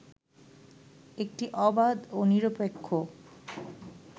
একটি অবাধ ও নিরপেক্ষ